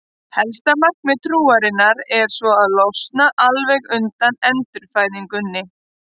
Helsta markmiðið trúarinnar er svo að losna alveg undan endurfæðingunni.